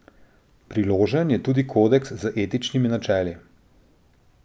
Priložen je tudi kodeks z etičnimi načeli.